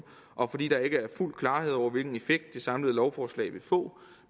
og fordi der ikke er fuld klarhed over hvilken effekt det samlede lovforslag vil få